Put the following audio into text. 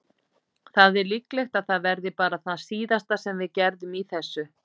Það er líklegt að það verði bara það síðasta sem við gerðum í þessu.